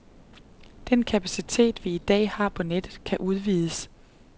Den kapacitet, vi i dag har på nettet, kan udvides.